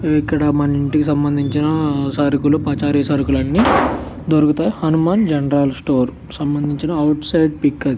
ఇక్కడ మన ఇంటికి సంభందించిన సరుకులు పచారి సరుకులు అన్నీ దొరుకుతాయి హనుమాన్ జనరల్ స్టోర్ కి సంభందించిన అవుట్ సైడ్ పిక్ అది.